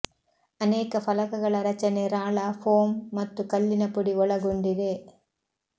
ಅನೇಕ ಫಲಕಗಳ ರಚನೆ ರಾಳ ಫೋಮ್ ಮತ್ತು ಕಲ್ಲಿನ ಪುಡಿ ಒಳಗೊಂಡಿದೆ